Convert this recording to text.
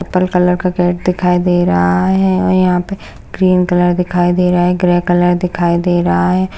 Purple colour का gate दिखाई दे रहा है और यह पर ग्रीन कलर दिखाई दे रहा है ग्रे कलर दिखाई दे रहा है।